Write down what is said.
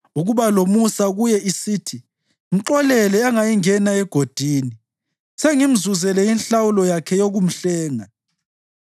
ukuba lomusa kuye isithi, ‘Mxolele angayingena egodini; sengimzuzele inhlawulo yakhe yokumhlenga